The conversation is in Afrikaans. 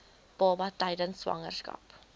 baba tydens swangerskap